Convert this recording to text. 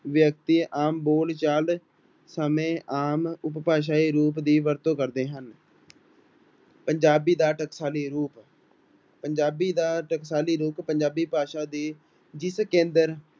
ਵਿਅਕਤੀ ਆਮ ਬੋਲਚਾਲ ਸਮੇਂ ਆਮ ਉਪਭਾਸ਼ਾਈ ਰੂਪ ਦੀ ਵਰਤੋਂ ਕਰਦੇ ਹਨ ਪੰਜਾਬੀ ਦਾ ਟਕਸਾਲੀ ਰੂਪ, ਪੰਜਾਬੀ ਦਾ ਟਕਸਾਲੀ ਰੂਪ ਪੰਜਾਬੀ ਭਾਸ਼ਾ ਦੇ ਜਿਸ ਕੇਂਦਰ